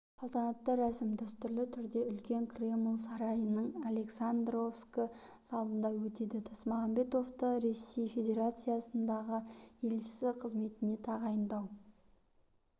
салтанатты рәсім дәстүрлі түрде үлкен кремль сарайының александровскі залында өтеді тасмағамбетовты ресей федерациясынындағы елшісі қызметіне тағайындау